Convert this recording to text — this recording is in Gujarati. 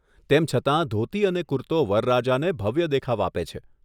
તેમ છતાં, ધોતી અને કુર્તો વરરાજાને ભવ્ય દેખાવ આપે છે.